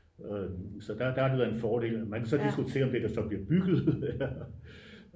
så der har det været en fordel man kan så diskutere om det der så bliver bygget det er